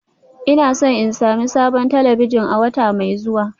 Ina so in sami sabon talabijin a wata mai zuwa